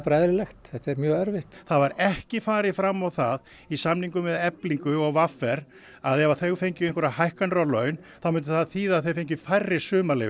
eðlilegt þetta er mjög erfitt það var ekki farið fram á það í samningum við Eflingu og v r að ef þau fengju einhverjar hækkanir á laun þá myndi það þýða að þau fengju færri